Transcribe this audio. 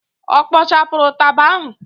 Ọ kpọchara ụtaba ahụ?